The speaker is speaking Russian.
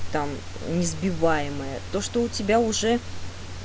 там несбиваемая то что у тебя уже